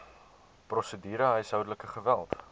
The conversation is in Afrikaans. prosedure huishoudelike geweld